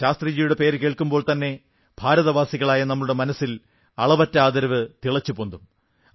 ശാസ്ത്രിജിയുടെ പേരു വരുമ്പോൾത്തന്നെ ഭാരതവാസികളായ നമ്മുടെ മനസ്സിൽ അളവറ്റ ആദരവ് തിളച്ചുപൊന്തും